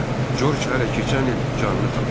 Corc hələ keçən il canını tapşırıb.